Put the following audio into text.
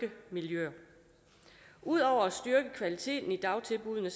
miljø udover at styrke kvaliteten i dagtilbuddene